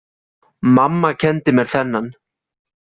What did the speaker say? Mamma kenndi mér þennan.